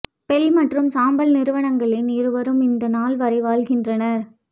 bell மற்றும் சாம்பல் நிறுவனங்களின் இருவரும் இந்த நாள் வரை வாழ்கின்றனர்